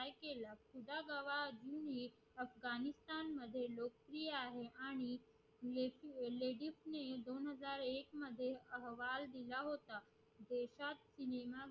अफगाणिस्तान लोकप्रिय आहे आणि दोन हजार एक मध्ये अहवाल दिला होता